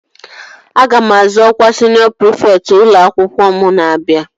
Aga m azọ ọkwa siniọ prịfekt ụlọ akwụkwọ m na-abịa